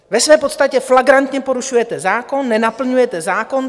Ve své podstatě flagrantně porušujete zákon, nenaplňujete zákon.